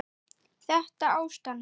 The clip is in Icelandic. Þetta ástand?